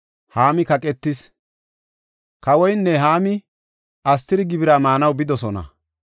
Kawoynne Haami Astiri gibira maanaw bidosona.